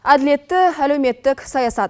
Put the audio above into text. әділетті әлеуметтік саясат